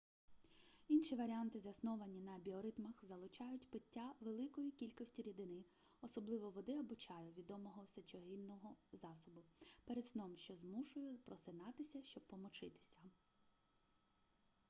інші варіанти засновані на біоритмах залучають пиття великої кількості рідини особливо води або чаю відомого сечогінного засобу перед сном що змушує просинатися щоб помочитися